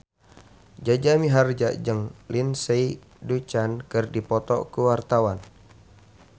Jaja Mihardja jeung Lindsay Ducan keur dipoto ku wartawan